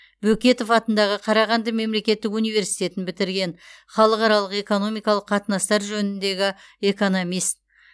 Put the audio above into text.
бөкетов атындағы қарағанды мемлекеттік университетін бітірген халықаралық экономикалық қатынастар жөніндегі экономист